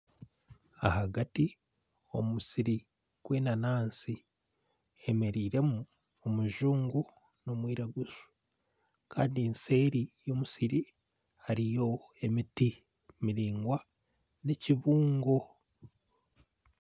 Ahagati omumusiri gw'enanansi hemereiremu omujungu n'omwiraguju Kandi nseeri y'omusiri hariyo emiti miringwa n'ekibungo.